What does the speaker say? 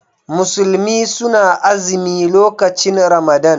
Musulmi suna azimi lokacin Ramadan.